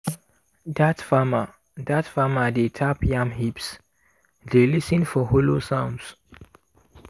dat farmer dat farmer dey tap yam heaps dey lis ten for hollow sounds.